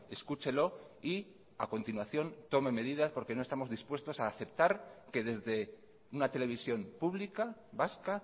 escúchelo y a continuación tome medidas porque no estamos dispuestos a aceptar que desde una televisión pública vasca